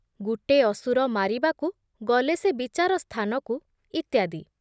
ଗୁଟେ ଅସୁର ମାରିବାକୁ, ଗଲେ ସେ ବିଚାର ସ୍ଥାନକୁ , ଇତ୍ୟାଦି